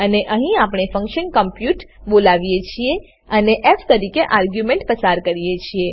અને અહીં આપણે ફંક્શન કોમપ્યુટ બોલાવીએ છીએ અને ફ તરીકે આર્ગ્યુંમેંટ પસાર કરીએ છીએ